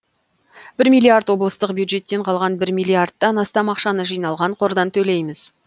бір миллиард облыстық бюджеттен қалған бір миллиардтан астам ақшаны жиналған қордан төлейміз